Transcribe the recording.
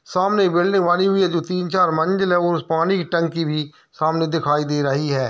सामने एक बिल्डिंग बनी हुई है जो तीन चार मंजिल है और पानी की टंकी भी सामने दिखाई दे रही है।